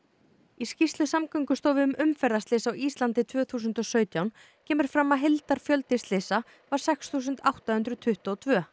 í skýrslu Samgöngustofu um umferðarslys á Íslandi tvö þúsund og sautján kemur fram að heildarfjöldi slysa var sex þúsund átta hundruð tuttugu og tvö